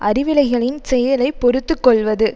அறிவிலைகளின் செயலைப் பொறுத்து கொள்வது